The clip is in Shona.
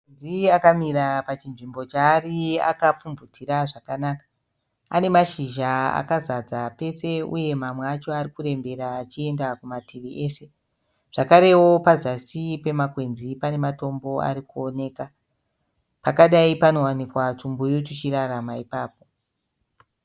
Makwenzi akamira pachinzvimbo chaari akapfubvutira zvakanaka. Pane mashizha akazanza pese uye mamwe acho ari kurembera achienda kumativi ese. Zvakarewo pazasi pemakwenzi pane matombo ari kuoneka. Pakadai panowanika twumbuyu twuchirarama ipapo.